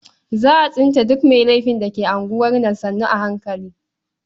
Za a tsince duk mai laifin da ke unguwar nan sannu a hankali.